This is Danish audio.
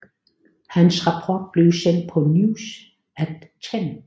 Hans rapport blev sendt på News at Ten